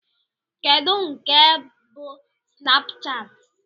Kedu nke bú Snapchat?